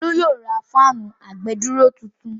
Olú yóò ra fáànù àgbèdúró tuntun.